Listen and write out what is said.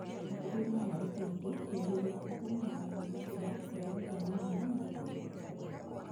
Itĩrĩria maĩĩ kaingĩ hĩndĩ ĩrĩ ya bata mũno ta kũringũra, ikĩruta mahũa na igĩkĩra